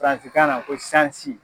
Faransikanna ko sansi.